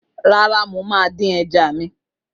Rárá, mo máa ń dín ẹja mi.